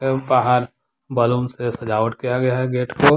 अह बाहर बैलून से सजावट किया गया है गेट को।